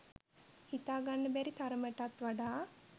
හිතා ගන්න බැරි තරමටත් වඩා